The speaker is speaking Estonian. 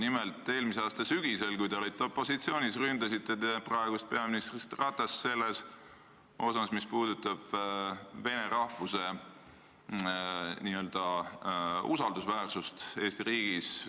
Nimelt, eelmise aasta sügisel, kui te olite opositsioonis, ründasite te praegust peaministrit Ratast selles asjas, mis puudutab vene rahvuse n-ö usaldusväärsust Eesti riigis.